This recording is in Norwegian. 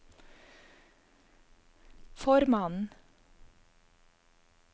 formannen